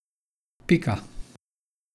Pika.